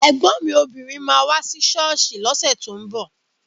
Ẹ̀gbọ́n mi obìnrin máa wá sí ṣọ́ọ̀ṣì lọ́sẹ̀ tó ń bọ̀